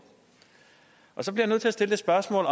så bliver jeg nødt til at stille et spørgsmål